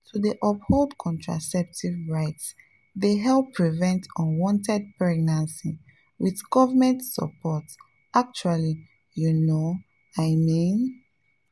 to dey uphold contraceptive rights dey help prevent unwanted pregnancies with government support actually you know i mean.